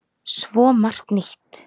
Svo margt nýtt.